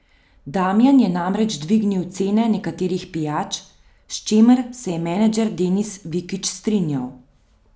Damjan je namreč dvignil cene nekaterih pijač, s čimer se je menedžer Denis Vikič strinjal.